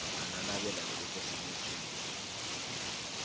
a nanabela lebokoso le tshwereng